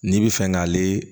N'i bɛ fɛ k'ale